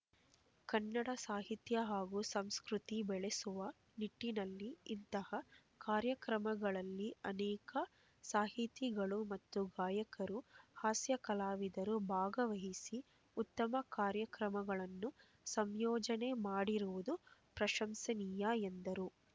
ಕನ್ನಡ ಸಾಹಿತ್ಯ ಹಾಗೂ ಸಂಸ್ಕೃತಿ ಬೆಳೆಸುವ ನಿಟ್ಟಿನಲ್ಲಿ ಇಂತಹ ಕಾರ್ಯಕ್ರಮಗಳಲ್ಲಿ ಅನೇಕ ಸಾಹಿತಿಗಳು ಮತ್ತು ಗಾಯಕರು ಹಾಸ್ಯ ಕಲಾವಿದರು ಭಾಗವಹಿಸಿ ಉತ್ತಮ ಕಾರ್ಯಕ್ರಮಗಳನ್ನು ಸಂಯೋಜನೆ ಮಾಡಿರುವುದು ಪ್ರಶಂಸನೀಯ ಎಂದರು